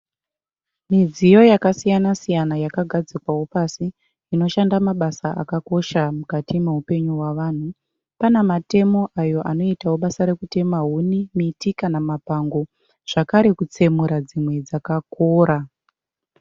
Midziyo yakasiyana siyana yakagadzikwawo pasi inoshanda mabasa akakosha mukati meupenyu hwavanhu. Pana matemo anoitawo basa rekutema, huni, miti kana mapango zvakare kutsemura dzimwe dzakakora.